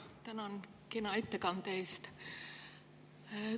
Tänan kena ettekande eest.